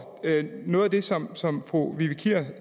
noget af det som som fru vivi kier